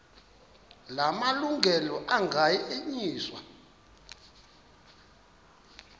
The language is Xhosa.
la malungelo anganyenyiswa